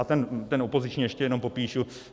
A ten opoziční ještě jenom popíšu.